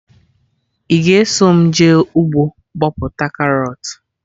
Ị ga eso mụ jee ugbo bọpụta karọt?